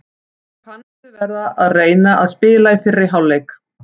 Mér fannst við vera að reyna að spila í fyrri hálfleik.